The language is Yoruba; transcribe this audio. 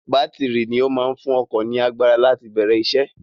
Bátìrì ni ó máa ń fún ọkọ̀ ní agbára láti bẹ̀rẹ̀ isẹ́.